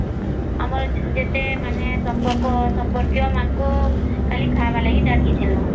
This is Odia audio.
ଆମର ଯେତେ ସମ୍ପର୍କ ସମ୍ପର୍କୀୟ ମାନଙ୍କୁ ଖାଲି ଖାଇବା ପାଇଁ ଡ଼ାକିଥିଲୁ